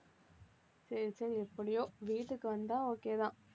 சரி, சரி எப்படியோ வீட்டுக்கு வந்தா okay தான்